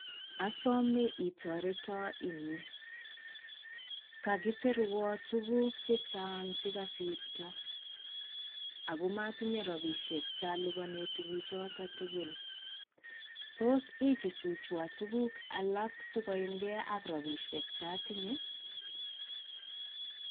Asome itoreton eng' yu. Kakisirwan tuguk chechang' che kosirto, ago matinye rabishek che aliponen tuguk choto tugul. Tos ichuchuchwan tuguk alak si koyamgei ak rabishek che atinye?